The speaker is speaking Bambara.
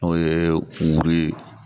N'o ye wuru ye